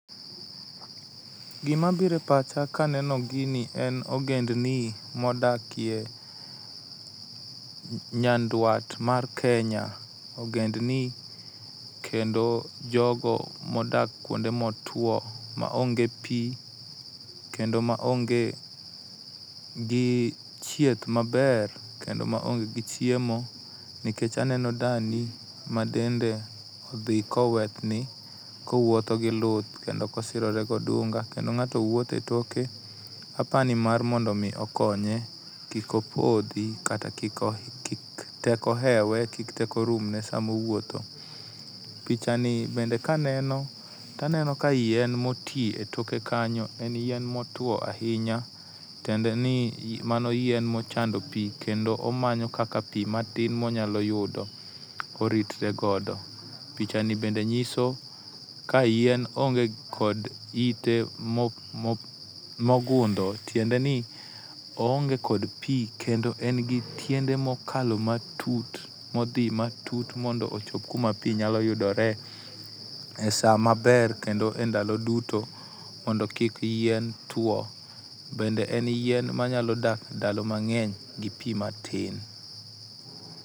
Gima biro e pacha ka aneno gini en ogendni modaki e Nyanduat mar Kenya. Ogend ni kendo jogo modak kuonde motiuo maonge pi kendo maonge gi thieth maber kendo maonge gi chiemo nikech aneno dani madende odhi kowethni kowuotho gi luth kendo kosirore gi odunga. Kendo ng'ato wuotho etoke aparo ni mar mondo mi okonye kik opodhi kata kik teko hewe kik teko rumne sam,a owuotho. Picha ni bende ka aneno tanenoi yien moti toke kanyo. En yien motuo ahinya tiende ni mano yien mochando pi kendo omanyo kaka pi matin monyalo yudo koritre godo. Picha ni bende nyiso ka yien onge kod ite mo mo mogundho tiende ni oonge kod pi kendo en gi tiende mokalo matut modhi matut mondo ochop kuma pi nyalo yudore esamaber kendo e ndalo duto mondo kik yien tuo bende en yien manyalo dak ndalo mang'eny gi pi matin.